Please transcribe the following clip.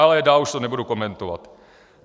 Ale dál už to nebudu komentovat.